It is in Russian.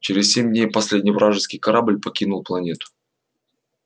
через семь дней последний вражеский корабль покинул планету